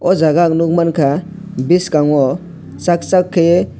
o jaga ang nogmangka boskango sak sak kaiye.